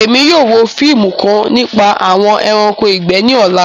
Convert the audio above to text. Ẹ̀mi yóò wò fíìmù kan nípa awọn ẹ̀ránkò igbẹ̀ ní òlà